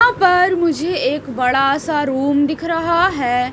हां पर मुझे एक बड़ा सा रूम दिख रहा है।